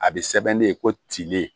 A bɛ sɛbɛn de ko tinlen